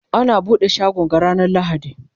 ana buɗe shagon ga ranar lahadi